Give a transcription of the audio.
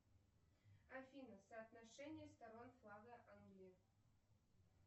афина соотношение сторон флага англии